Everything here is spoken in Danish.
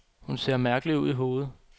Hun ser mærkelig ud i hovedet.